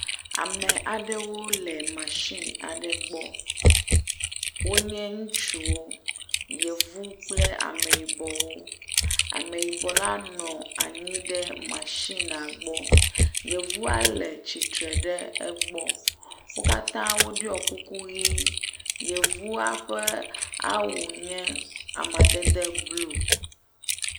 Ame aɖewo le masini aɖe gbɔ. Wonye ŋutsuwo yevuwo kple ameyibɔwo. Ameyibɔ la nɔ anyi ɖe mashini la gbɔ yevua nɔ atsiter ɖe egbɔ. Wo katã woɖu kuku ʋi. yevua ƒe awu nye amedede blu